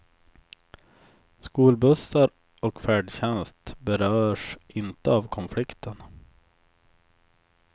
Skolbussar och färdtjänst berörs inte av konflikten.